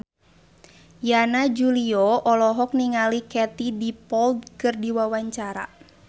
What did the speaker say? Yana Julio olohok ningali Katie Dippold keur diwawancara